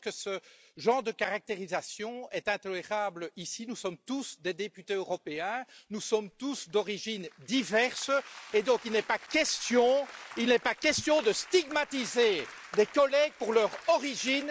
Je pense que ce genre de caractérisation est intolérable ici nous sommes tous des députés européens, nous sommes tous d'origines diverses, et donc il n'est pas question, il n'est pas question de stigmatiser des collègues pour leur origine!